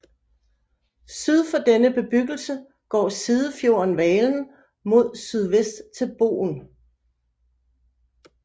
Syd for denne bebyggelse går sidefjorden Valen mod sydvest til Bogen